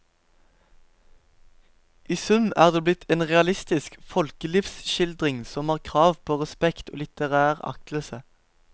I sum er det blitt en realistisk folkelivsskildring som har krav på respekt og litterær aktelse.